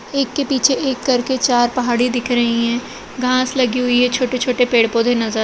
एक के पीछे एक करके चार पहाड़ी दिख रही हैं घास लगी हुई है छोटे-छोटे पेड़ पौधे नजर --